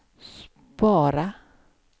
spara